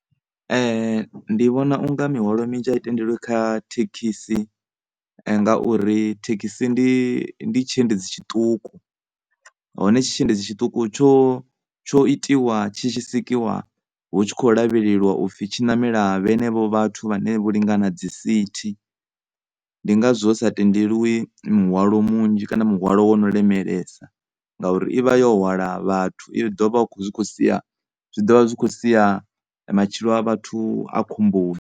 Ndi vhona unga mihwalo minzhi a i tendeliwi kha thekhisi ngauri thekhisi ndi, ndi tshiendedzi tshiṱuku. Hone tshi tshiendedzi tshiṱuku tsho, tsho itiwa tshi tshi sikiwa hu tshi kho lavheleliwa u pfhi vhanevha vhathu vhane vho lingana dzisithi. Ndi ngazwo hu sa tendeliwi munzhi kana muhwalo wo no lemelesa ngauri i vha yo hwala vhathu zwi ḓovha zwi kho sia matshilo a vhathu a khomboni.